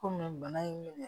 Komi bana in